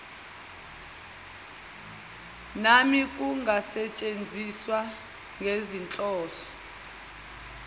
nami kungasetshenziswa ngezinhloso